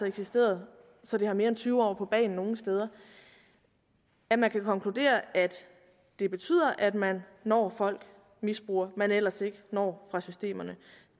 eksisteret så det har mere end tyve år på bagen nogle steder at man kan konkludere at det betyder at man når folk misbrugere man ellers ikke når fra systemerne